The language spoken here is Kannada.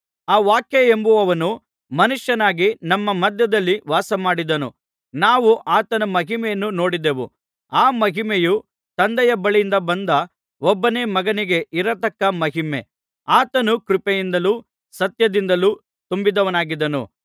ಆ ವಾಕ್ಯವೆಂಬುವವನು ಮನುಷ್ಯನಾಗಿ ನಮ್ಮ ಮಧ್ಯದಲ್ಲಿ ವಾಸಮಾಡಿದನು ನಾವು ಆತನ ಮಹಿಮೆಯನ್ನು ನೋಡಿದೆವು ಆ ಮಹಿಮೆಯು ತಂದೆಯ ಬಳಿಯಿಂದ ಬಂದ ಒಬ್ಬನೇ ಮಗನಿಗೆ ಇರತಕ್ಕ ಮಹಿಮೆ ಆತನು ಕೃಪೆಯಿಂದಲೂ ಸತ್ಯದಿಂದಲೂ ತುಂಬಿದವನಾಗಿದ್ದನು